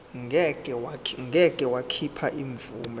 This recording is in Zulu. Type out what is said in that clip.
ngeke wakhipha imvume